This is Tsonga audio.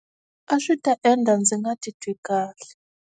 A swi ta endla ndzi nga titwi kahle.